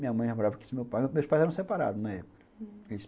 Minha mãe já morava aqui, meus pais eram separados na época. Hum.